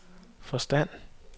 forstand